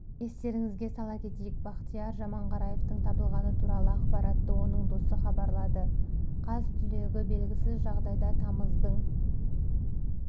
естеріңізге сала кетейік бақтияр жаманғараевтың табылғаны туралы ақпаратты оның досы хабарлады қаз түлегі белгісіз жағдайда тамыздың